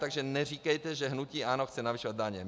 Takže neříkejte, že hnutí ANO chce navyšovat daně.